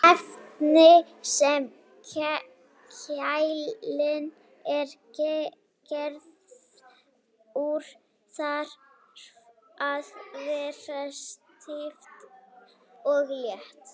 Efnið sem keilan er gerð úr þarf að vera stíft og létt.